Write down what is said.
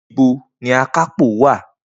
Nibo ni akápò wa?